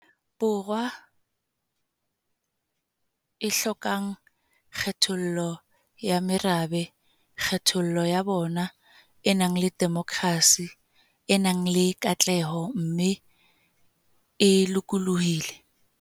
Borwa e hlokang kgethollo ya merabe, kgethollo ya bong, e nang le demokrasi, e nang le katleho mme e lokolohile.